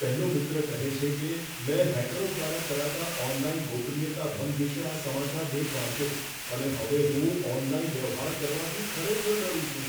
પહેલો મિત્ર કહે છે કે, મેં હેકરો દ્વારા કરાતા ઓનલાઈન ગોપનીયતા ભંગ વિશે આ સમાચાર લેખ વાંચ્યો, અને હવે હું ઓનલાઈન વ્યવહાર કરવાથી ખરેખર ડરું છું.